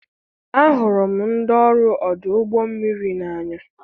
Ahụrụ m ndị ọrụ ọdụ ụgbọ mmiri n'anya.